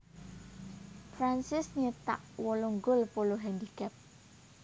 Francis nyétak wolung gol Polo handicap